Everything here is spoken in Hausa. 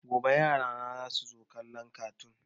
Gobe yarana za su kalla kartoon